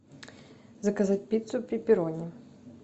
заказать пиццу пепперони